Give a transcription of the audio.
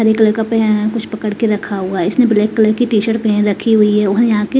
हरे colour का पहना कुछ पकड़ के रखा हुआ है इसने ब्लैक कलर की टीशर्ट पहन रखी हुई है और यहां के--